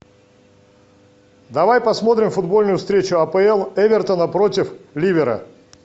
давай посмотрим футбольную встречу апл эвертона против ливера